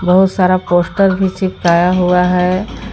बहुत सारा पोस्टर भी चिपकाया हुआ है।